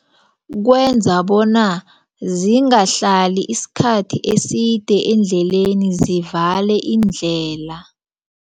Kwenza bona zingahlali isikhathi eside endleleni zivale iindlela.